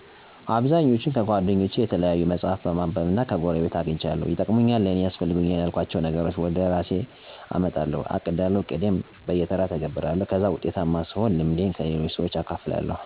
አብዛኞቹን ከጓደኞቸ፣ የተለያዩ መፅሐፍ በማንበብ እና ከጎረቤት አገኝቻለሁ። ይጠቅሙኛል/ለኔ ያስፈልጉኛል የልኋቸውን ነገሮች ወደ እራሴ አመጠለሁ፣ አቅዳለሁ፣ እቅዴን በየተራ እተገብራለሁ፣ ከዛ ውጤታማ ስሆን ልምዴን ለሌሎች ሰዎች አካፍላለሁ።